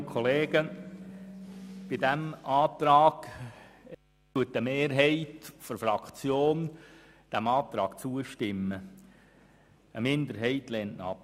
Diesem Antrag stimmt eine Mehrheit der Fraktion zu, eine Minderheit lehnt ihn ab.